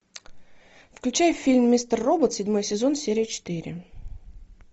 включай фильм мистер робот седьмой сезон серия четыре